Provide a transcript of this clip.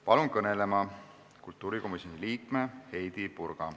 Palun kõnelema kultuurikomisjoni liikme Heidy Purga.